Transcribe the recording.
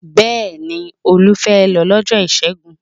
Bẹẹ̀ni, Olú fẹ́ lọ lọ́jọ́ Ìṣẹ́gun.